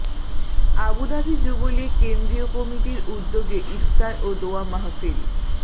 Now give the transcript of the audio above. Abu Dhabi Jubo League কেন্দ্রীয় কমিটির উদ্যোগে ইফতার ও দোয়া মাহফিল